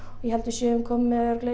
ég held við séum komin